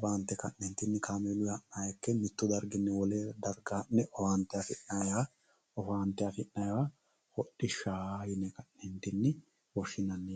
baaxine ha'ne owaante afi'nayiha hodhishsha yine woshshinanni